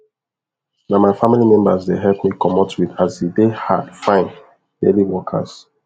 na my family members dey help me comot weed as e dey hard find daily workers